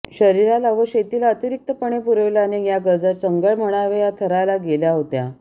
शरीराला व शेतीला अतिरिक्तपणे पुरविल्याने या गरजा चंगळ म्हणाव्या या थराला गेल्या होत्या